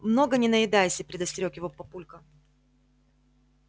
много не наедайся предостерёг его папулька